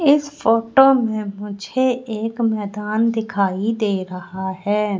इस फोटो में मुझे एक मैदान दिखाई दे रहा है।